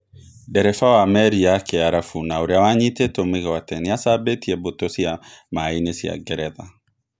Ndereba wa meri ya Kĩarabu na ũrĩa wa nyitĩtwo mĩgwate nĩ acambĩtie mbũtũ cia maĩ-inĩ cia Ngeretha.